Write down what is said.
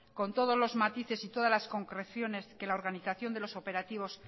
con todos los matices y todas las concreciones que la organización de los operativos